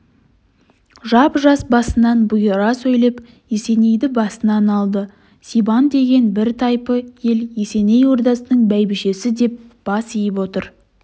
жап-жас басынан бұйыра сөйлеп есенейді басынып алды сибан деген бір тайпы ел есеней ордасының бәйбішесі деп бас иіп отыр